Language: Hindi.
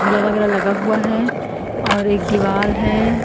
झूला वगैरह लगा हुआ है और एक दीवाल हैं।